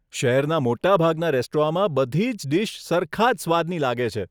શહેરના મોટાભાગના રેસ્ટોરાંમાં બધી જ ડીશ સરખા જ સ્વાદની લાગે છે.